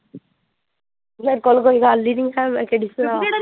ਮੇਰੇ ਕੋਲ ਕੋਈ ਗਲ ਹੀ ਨੀ ਆ ਮੈ ਕਿਹੜੀ ਸੁਣਾਵਾਂ?